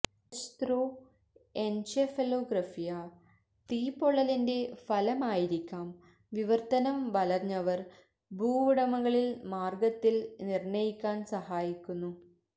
എലെച്ത്രൊഎന്ചെഫലൊഗ്രഫ്യ് തീപ്പൊള്ളലിന്റെ ഫലമായിരിക്കാം വിവർത്തനം വലഞ്ഞവർ ഭൂവുടമകളിൽ മാർഗത്തിൽ നിർണ്ണയിക്കാൻ സഹായിക്കുന്നു